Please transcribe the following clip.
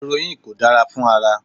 Erońnìì kò dára fún ara.